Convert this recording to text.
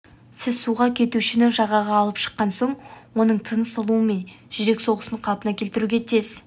сіз суға кетушіні жағаға алып шыққан соң оның тыныс алуы мен жүрек соғысын қалпына келтіруге тез